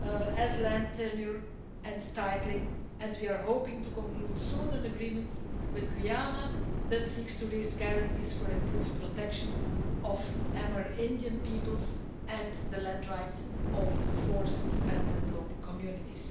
such as land tenure and titling, and we are hoping to conclude soon an agreement with Guyana that seeks to raise guarantees for improved protection of Amerindian peoples and the land rights of forest dependent local communities.